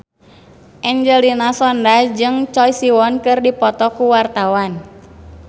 Angelina Sondakh jeung Choi Siwon keur dipoto ku wartawan